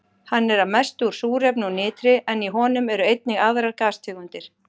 Hann er að mestu úr súrefni og nitri en í honum eru einnig aðrar gastegundir.